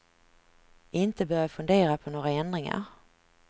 Inte börja fundera på några ändringar.